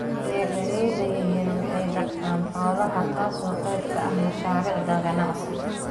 Beeralayda yaryari waxay dhaqdaan xoolaha taasoo qayb ka ah mashaariicda ganacsi.